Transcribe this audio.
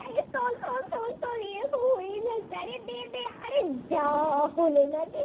আরে যা হলো না রে